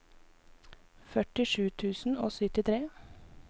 førtisju tusen og syttitre